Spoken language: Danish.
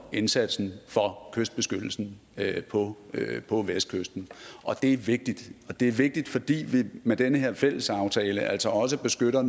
indsatsen for kystbeskyttelsen på på vestkysten og det er vigtigt det er vigtigt fordi vi med den her fælles aftale altså også beskytter